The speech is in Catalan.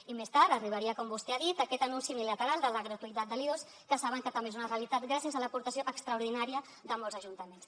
i més tard arribaria com vostè ha dit aquest anunci unilateral de la gratuïtat de l’i2 que saben que també és una realitat gràcies a l’aportació extraordinària de molts ajuntaments